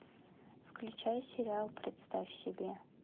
включай сериал представь себе